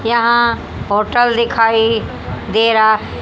यहां होटल दिखाई दे रा--